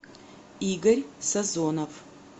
игорь сазонов